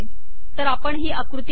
तर आपण ही आकृती पाहू